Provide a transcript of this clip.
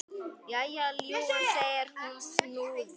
Jæja, ljúfan, segir hún snúðug.